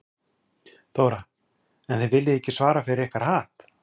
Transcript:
Þóra: En þið viljið ekki svara fyrir ykkar hatt?